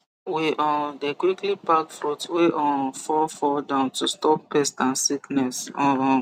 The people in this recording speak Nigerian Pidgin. we um dey quickly pack fruit wey um fall fall down to stop pest and sickness um